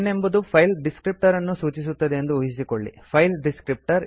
n ಎಂಬುದು file ಡಿಸ್ಕ್ರಿಪ್ಟರನ್ನು ಸೂಚಿಸುತ್ತದೆ ಎಂದು ಊಹಿಸಿಕೊಳ್ಳಿ